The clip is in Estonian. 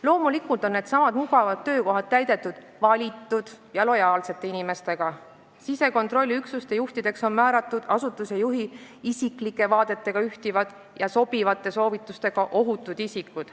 Loomulikult on needsamad mugavad töökohad täidetud valitud ja lojaalsete inimestega, sisekontrolliüksuste juhtideks on määratud ohutud isikud, kelle vaated ühtivad asutuse juhi isiklike vaadetega ja kellel on sobivad soovitused.